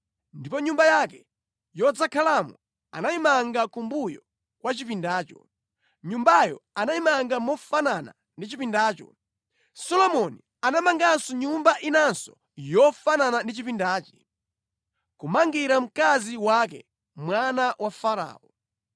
Ndipo nyumba yake yodzakhalamo anayimanga kumbuyo kwa chipindacho. Nyumbayo anayimanga mofanana ndi Chipindacho. Solomoni anamanga nyumba inanso yofanana ndi chipindachi, kumangira mkazi wake mwana wa Farao.